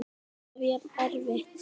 Alltaf jafn erfitt?